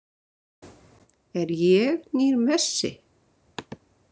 Er ég nýr Messi?